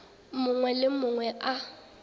mongwe le yo mongwe a